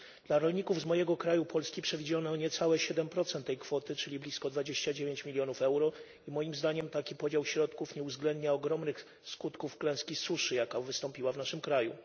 Dla rolników z mojego kraju, Polski, przewidziano niecałe 7 tej kwoty, czyli blisko 29 milionów euro, i moim zdaniem taki podział środków nie uwzględnia ogromnych skutków klęski suszy, jaka wystąpiła w naszym kraju.